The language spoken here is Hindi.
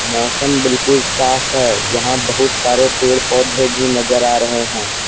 मौसम बिल्कुल साफ़ है यहां बहुत सारे पेड़-पौधे भी नजर आ रहे हैं ।